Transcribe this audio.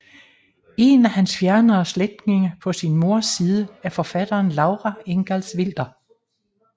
En af hans fjernere slægtninge på sin moders side er forfatteren Laura Ingalls Wilder